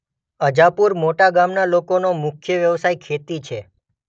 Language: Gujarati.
અજાપુર મોટા ગામના લોકોનો મુખ્ય વ્યવસાય ખેતી છે.